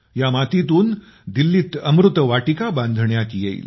या मातीतून दिल्लीत अमृतवाटिका बांधण्यात येईल